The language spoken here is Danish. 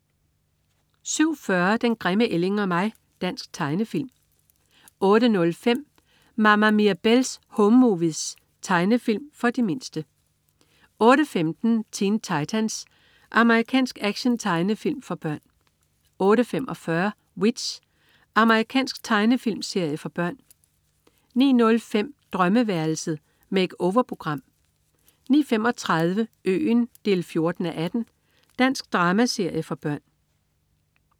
07.40 Den grimme ælling og mig. Dansk tegnefilm 08.05 Mama Mirabelle's Home Movies. Tegnefilm for de mindste 08.15 Teen Titans. Amerikansk actiontegnefilm for børn 08.45 W.i.t.c.h. Amerikansk tegnefilmserie for børn 09.05 Drømmeværelset. Make-over-program 09.35 Øen 14:18. Dansk dramaserie for børn